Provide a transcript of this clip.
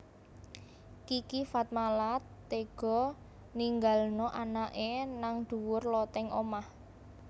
Kiki Fatmala tega ninggalno anake nang dhuwur loteng omah